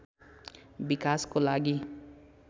विकासको लागि